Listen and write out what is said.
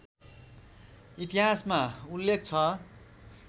इतिहासमा उल्लेख छ